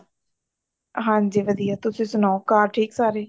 ਹਾਂਜੀ ਵਧੀਆ ਤੁਸੀਂ ਸਨਾਉ ਘਰ ਠੀਕ ਸਾਰੇ